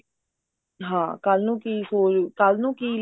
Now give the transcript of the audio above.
ਹਾਂ ਕੱਲ ਨੂੰ ਕੀ ਸੋਚ ਕੱਲ ਨੂੰ ਕੀ